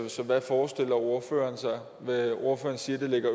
så hvad forestiller ordføreren sig ordføreren siger at det ligger